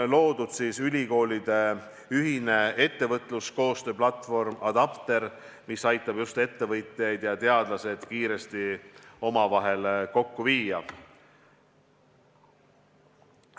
On loodud ülikoolide ühine ettevõtluskoostöö platvorm ADAPTER, mis aitab ettevõtjad ja teadlased kiiresti omavahel kokku viia.